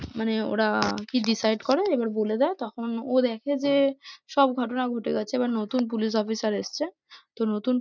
মানে ওরা কি decide করে এবার বলে দেয় তখন ও দেখে যে, সব ঘটনা ঘটে গেছে এবার নতুন পুলিশ অফিসার এসছে তো নতুন